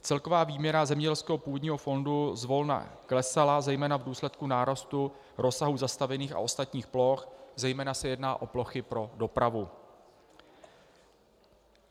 Celková výměra zemědělského půdního fondu zvolna klesala zejména v důsledku nárůstu rozsahu zastavěných a ostatních ploch, zejména se jedná o plochy pro dopravu.